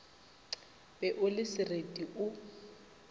be o le sereti o